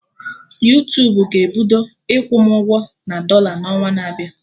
Yuutubuga-ebido ịkwụ m ụgwọ na dọla n'ọnwa na-abịa